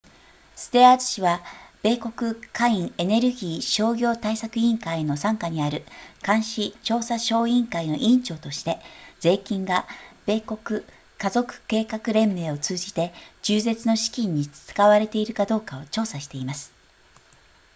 ステアーズ氏は米国下院エネルギー商業対策委員会の傘下にある監視調査小委員会の委員長として税金が米国家族計画連盟を通じて中絶の資金に使われているかどうかを調査しています